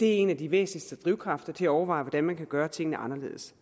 en af de væsentligste drivkræfter til at overveje hvordan man kan gøre tingene anderledes